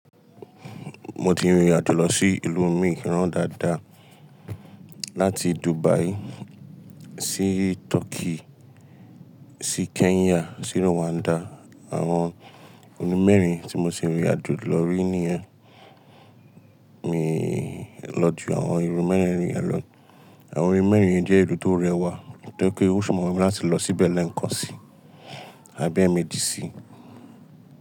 Mo ti rìnrìn àjò lọ sí ìlú mìíràn dáadáa láti Dubai sí Turkey sí Kenya sí Rwanda. Àwọn ìlú mẹ́rin tí mo ti rìnrìn àjò lọ rí níyẹn. Mi lọ ju àwọn ìlú mẹ́rin rìnrìn àjò. Àwọn ìlú mẹ́rin yẹn jẹ́ ìlú tó rẹwà, tó ri pé ó ṣọ̀wọ́n mi láti lọ síbẹ̀ lẹ́ẹ̀kan sí àbí ẹ́mi di sí.